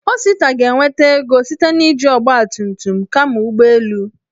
Osita ga-enweta ego site na iji ọgbatumtum kama ụgbọ elu.